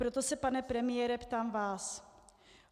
Proto se, pane premiére, ptám vás.